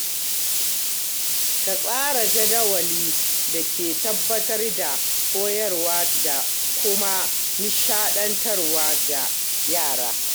Ka tsara jadawalin da ke tabbatar da koyarwa da kuma nishaɗantarwa ga yara.